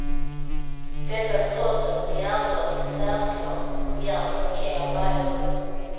Detta trots att en järndörr med tvärslå av järn blockerade varje rum.